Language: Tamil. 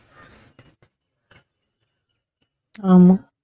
ஆமா